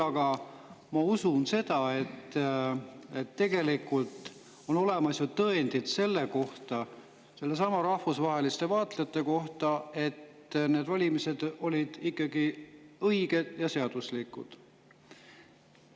Aga ma usun seda, et tegelikult on ju olemas tõendid selle kohta, nendesamade rahvusvaheliste vaatlejate kohta, et need valimised olid ikkagi õiged ja seaduslikud.